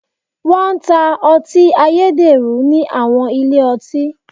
Wọ́n ń ta ọtí ayédèrú ní àwọn ilé ọtí.